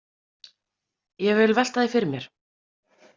Ég vil velta því fyrir mér.